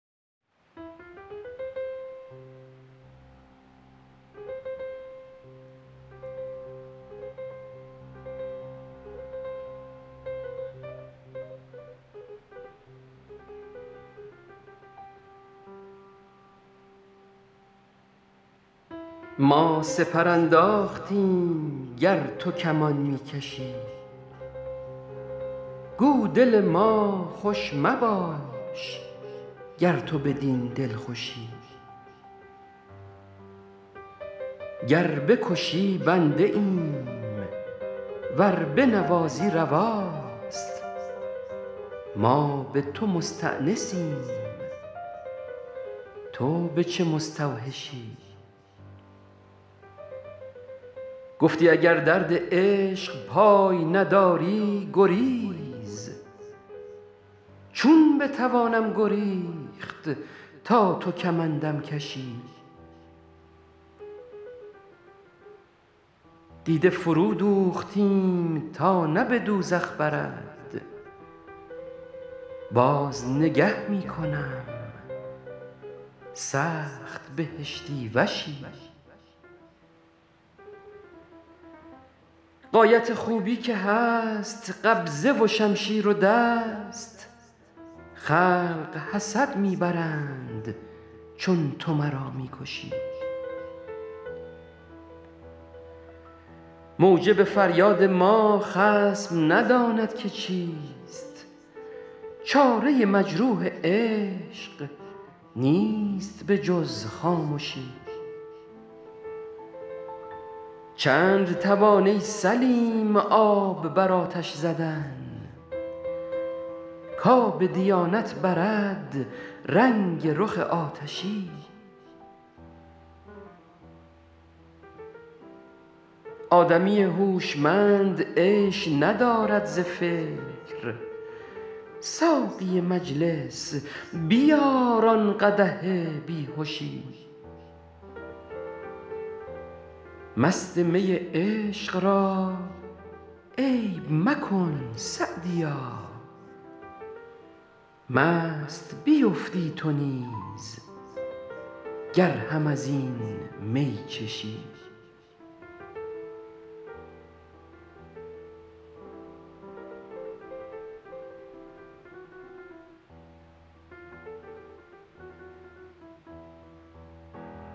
ما سپر انداختیم گر تو کمان می کشی گو دل ما خوش مباش گر تو بدین دلخوشی گر بکشی بنده ایم ور بنوازی رواست ما به تو مستأنسیم تو به چه مستوحشی گفتی اگر درد عشق پای نداری گریز چون بتوانم گریخت تا تو کمندم کشی دیده فرودوختیم تا نه به دوزخ برد باز نگه می کنم سخت بهشتی وشی غایت خوبی که هست قبضه و شمشیر و دست خلق حسد می برند چون تو مرا می کشی موجب فریاد ما خصم نداند که چیست چاره مجروح عشق نیست به جز خامشی چند توان ای سلیم آب بر آتش زدن کآب دیانت برد رنگ رخ آتشی آدمی هوشمند عیش ندارد ز فکر ساقی مجلس بیار آن قدح بی هشی مست می عشق را عیب مکن سعدیا مست بیفتی تو نیز گر هم از این می چشی